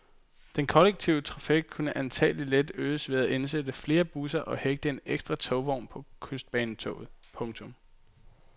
Den kollektive trafik kunne antagelig let øges ved at indsætte flere busser og hægte en ekstra togvogn på kystbanetoget. punktum